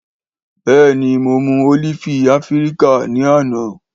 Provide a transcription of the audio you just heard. Béèni mo mú ólífì áfíríkà ní àná